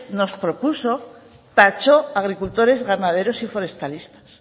nos propuso tachó agricultores ganaderos y forestalistas